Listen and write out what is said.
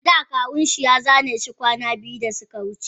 Ada kawun shi ya zaneshi kwana biyu da suka wuce.